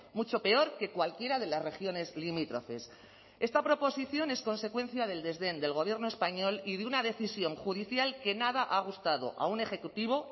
mucho peor que cualquiera de las regiones limítrofes esta proposición es consecuencia del desdén del gobierno español y de una decisión judicial que nada ha gustado a un ejecutivo